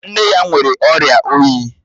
Nne ya nwere ọ̀ria oyi